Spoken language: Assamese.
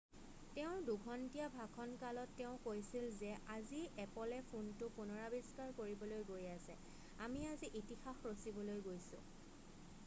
তেওঁৰ 2 ঘণ্টীয়া ভাষণ কালত তেওঁ কৈছিল যে আজি এপলে ফোনটো পুনৰাৱিষ্কাৰ কৰিবলৈ গৈ আছে আমি আজি ইতিহাস ৰছিবলৈ গৈছোঁ